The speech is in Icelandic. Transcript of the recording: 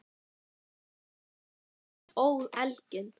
Pressunnar þar sem það óð elginn.